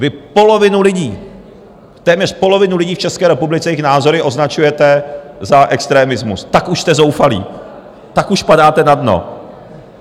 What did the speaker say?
Vy polovinu lidí, téměř polovinu lidí v České republice, jejich názory označujete za extremismus, tak už jste zoufalí, tak už padáte na dno.